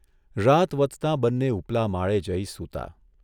રાત વધતા બંને ઊપલા માળે જઇ સૂતા.